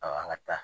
A an ka taa